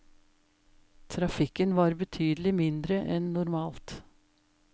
Trafikken var betydelig mindre enn normalt.